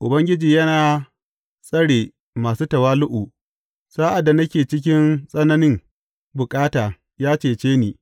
Ubangiji yana tsare masu tawali’u; sa’ad da nake cikin tsananin bukata, ya cece ni.